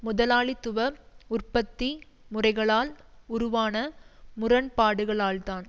முதலாளித்துவ உற்பத்தி முறைகளால் உருவான முரண்பாடுகளால்தான்